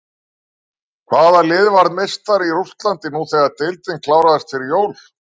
Hvaða lið varð meistari í Rússlandi nú þegar deildin kláraðist fyrir jól?